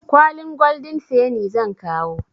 Kwalin goldin feni zan kawo.